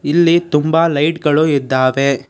ಇಲ್ಲಿ ತುಂಬ ಲೈಟ್ ಗಳು ಇದ್ದಾವೆ.